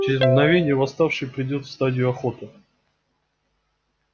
через мгновение восставший перейдёт в стадию охоты